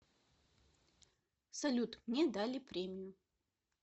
салют мне дали премию